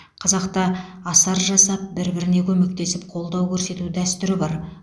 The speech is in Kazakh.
қазақта асар жасап бір біріне көмектесіп қолдау көрсету дәстүрі бар